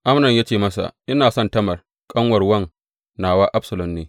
Amnon ya ce masa, Ina son Tamar ƙanuwar wan nawa Absalom ne.